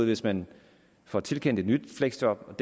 hvis man får tilkendt et nyt fleksjob